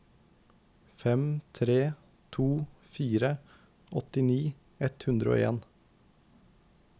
fem tre to fire åttini ett hundre og en